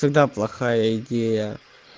тогда плохая идея